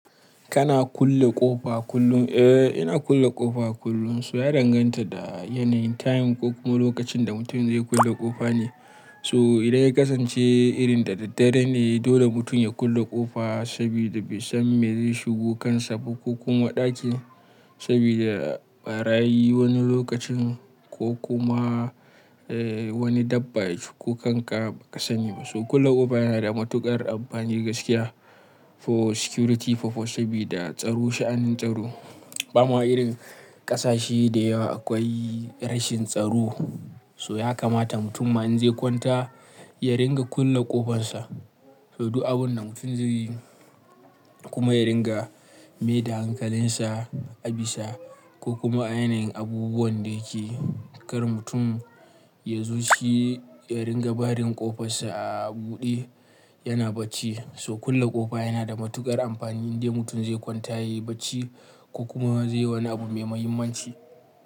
Kana kulle ƙofa kullum? Eh, ina kulle ƙofa kullum. So ya danganta da yanayin time ko kuma lokacin da mutum zai kulle ƙofa ne. So idan ya kasance irin da daddare ne dole mutum ya kulle ƙofa saboda bai san me zai shigo kansa ba ko kuma ɗaki saboda barayi wani lokacin ko kuma eh wani dabba ya shiga kanka ba ka sani ba. So kulle ƙofa yana da matuƙar amfani gaskiya for security purpose sabida tsaro, sha'anin tsaro. Bama irin ƙasashe da yawa akwai rashin tsaro. So ya kamata mutum ma in zai kwanta ya ringa kulle ƙofansa. So duk abinda mutum zai yi kuma ya ringa mai da hankalinsa, abisa ko kuma a yanayin abubuwan da yake yi. Kar mutum ya zo shi ya ringa barin ƙofarsa a buɗe yana bacci. So kulle ƙofa yana da matuƙar amfani in de mutum zai kwanta ya yi bacci ko kuma zai yi wani abu mai muhimmanci.